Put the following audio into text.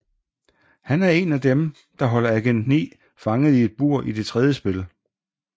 Han er en af dem der holder Agent 9 fanget i et bur i det tredje spil